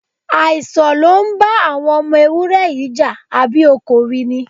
Àìsàn ló ń bá àwọn ọmọ ewúré yìí jà, àbí o kò rí ni?